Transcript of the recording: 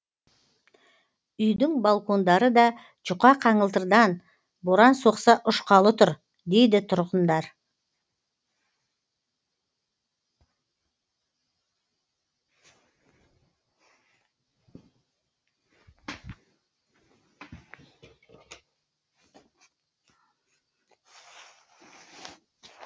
үйдің балкондары да жұқа қаңылтырдан боран соқса ұшқалы тұр дейді тұрғындар